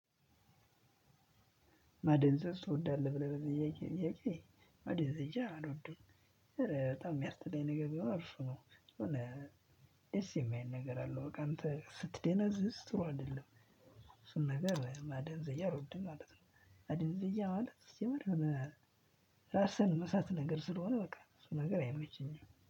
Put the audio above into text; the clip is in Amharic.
ማደንዘዝ እወዳለሁ ብለህ ብዬ ብለ ማደንዘዝ እየሃለ እወድሁ። ኧረ በጣም ነገር ቢሆን እሱ ነው የሆነ ደስ የማይለው ነገር አለው። በቃ አንተ ስትደነዝዝ ጥሩ አይደለም። እሱን ነገር ማደዘዝያ ሮድድ ማለት ነው። አደን ዘያ ማለት ሲጀመር። ራስህን መሳት ነገር ስለሆነ በቃ እሱ ነገር አይመቸኝም